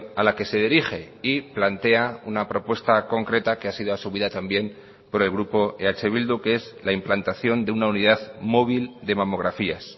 a la que se dirige y plantea una propuesta concreta que ha sido asumida también por el grupo eh bildu que es la implantación de una unidad móvil de mamografías